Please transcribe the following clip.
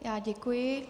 Já děkuji.